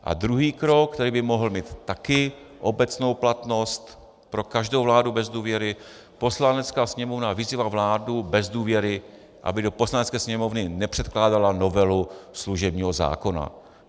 A druhý krok, který by mohl mít také obecnou platnost pro každou vládu bez důvěry: "Poslanecká sněmovna vyzývá vládu bez důvěry, aby do Poslanecké sněmovny nepředkládala novelu služebního zákona."